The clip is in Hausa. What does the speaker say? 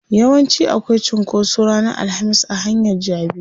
Yawanci akwai cunkoso ranar alhamis a hanyar jabi.